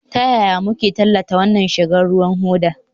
Ta yaya muke tallata wannan rigar ruwan hoda?